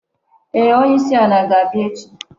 Ee, onye isi ala ga-abia echi